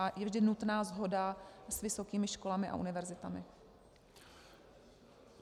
A je vždy nutná shoda s vysokými školami a univerzitami.